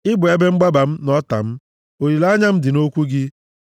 Ị bụ ebe mgbaba m na ọta m; olileanya m dị nʼokwu gị.